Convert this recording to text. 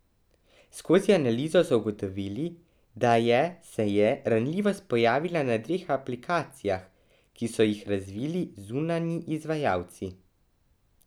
Skozi analizo so ugotovili, da je se je ranljivost pojavila na dveh aplikacijah, ki so jih razvili zunanji izvajalci.